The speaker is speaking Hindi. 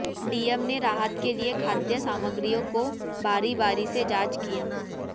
डीएम ने राहत के लिए खाद्य सामग्रियों को बारी बारी से जांच किया